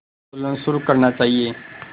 आंदोलन शुरू करना चाहिए